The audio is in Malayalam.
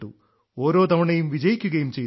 ഓരോ തവണയും വിജയിക്കുകയും ചെയ്തു